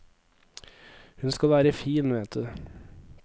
Hun skal være fin, vet du.